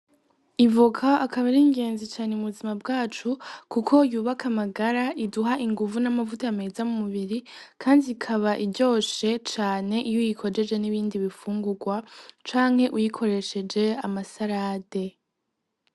Ivuka akabera ingenzi cane mu buzima bwacu, kuko yubaka amagara iduha inguvu n'amavuta ameza mu mubiri, kandi ikaba iryoshe cane iyo yikojeje n'ibindi bifungurwa canke uyikoresheje amasalade.